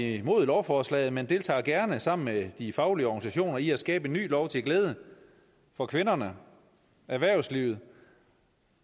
imod lovforslaget men deltager gerne sammen med de faglige organisationer med at skabe en ny lov til glæde for kvinderne erhvervslivet